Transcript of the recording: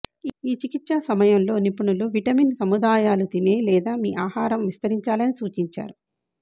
ఈ చికిత్స సమయంలో నిపుణులు విటమిన్ సముదాయాలు తినే లేదా మీ ఆహారం విస్తరించాలని సూచించారు